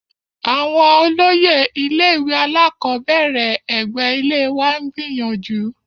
Àwọn olóyè ilé-ìwé alákọ̀ọ́bẹ̀rẹ̀ ẹ̀gbẹ́ ilée wa ń gbìyànjú.